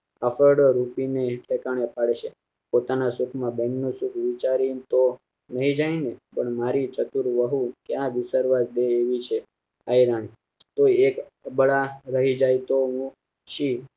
હકડ઼ો રુકી ને પોતાના સુખમાં બહેનો સુખ વિચારીને તો નહીં જાય ને પણ મારી ચતુર વહુ ક્યાં વિસરવા દે એવી છે આયરાણી તો એક બડા રહી જાય તો હું છે